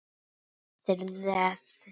Þeirri beiðni hefur verið synjað.